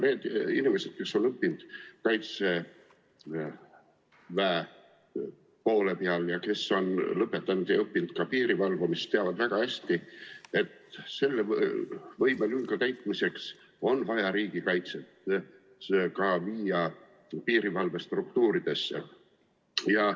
Need inimesed, kes on õppinud Kaitseväe poole peal ja kes on õppinud ka piiri valvamist, teavad väga hästi, et selle võimelünga täitmiseks on vaja riigikaitse viia ka piirivalvestruktuuridesse.